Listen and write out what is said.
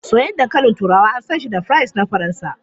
Soyayyen dankalin turawa an san shi da fries na Faransa.